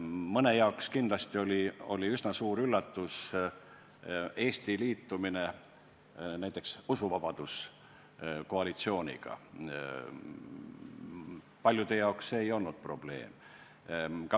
Mõne jaoks oli kindlasti üsna suur üllatus Eesti liitumine näiteks usuvabaduse koalitsiooniga, paljude jaoks see ei olnud probleem.